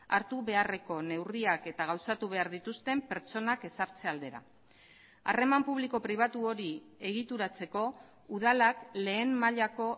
hartu beharreko neurriak eta gauzatu behar dituzten pertsonak ezartze aldera harreman publiko pribatu hori egituratzeko udalak lehen mailako